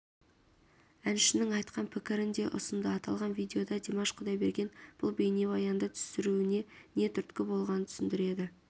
әншінің айтқан пікірін де ұсынды аталған видеода димаш құдайберген бұл бейнебаянды түсіруіне нетүрткі болғанын түсіндіреді